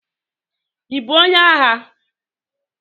Ibu onye agha?